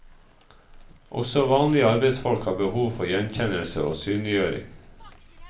Også vanlige arbeidsfolk har behov for gjenkjennelse og synliggjøring.